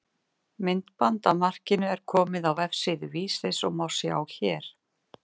Myndband af markinu er komið á vefsíðu Vísis og má sjá hér.